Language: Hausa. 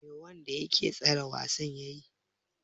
Me wanda yake tsara wasan yayi?